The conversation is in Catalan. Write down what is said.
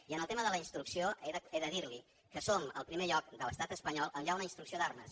i en el tema de la instrucció he de dir li que som el primer lloc de l’estat espanyol on hi ha una instrucció d’armes